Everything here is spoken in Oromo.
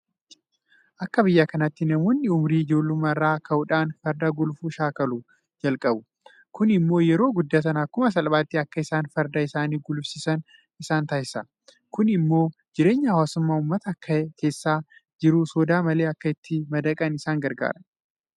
Akka biyya kanaatti namoonni ummurii ijoollummaa irraa ka'uudhaan farda gulufuu shaakaluu jalqabu. Kun immoo yeroo guddatan akkuma salphaatti akka isaan farda isaanii gulufsiisan isaan taasisa. Kun immoo jireenya hawaasummaa uummata keessa jiru sodaa malee akka itti madaqan isaan gargaara.